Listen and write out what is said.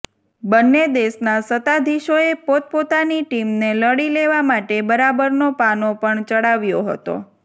બંને દેશના સત્તાધીશોએ પોતપોતાની ટીમને લડી લેવા માટે બરાબરનો પાનો પણ ચડાવ્યો હતો